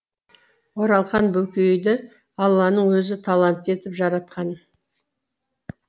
оралхан бөкейді алланың өзі талантты етіп жаратқан